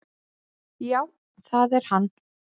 """Já, það er hann."""